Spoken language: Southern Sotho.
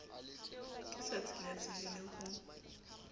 ke sa tsilatsile le ho